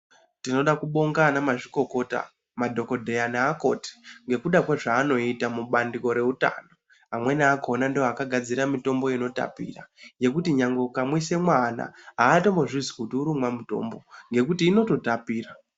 Tinoda kubonga ana mazvikokota ma dhokodheya ne akoti ngekuda kwe zvaanoita mubandiko re utano amweni akona ndivo vaka gadzira mutombo ino tapira yekuti nyangwe uka mwisa mwana haatombo zvinzwi kuti uri kumwa mutombo ngekuti inoto tapira.